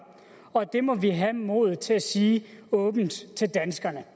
og det må vi have modet til at sige åbent til danskerne